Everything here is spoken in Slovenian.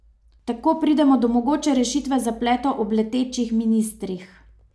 Tako pridemo do mogoče rešitve zapletov ob letečih ministrih.